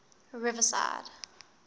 riverside